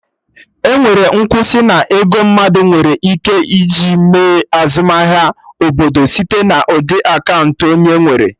Enwere nkwụsị na ego mmadụ nwere ike ji mee azụmahịa, ọ bụ site na ụdị akaụntụ onye nwere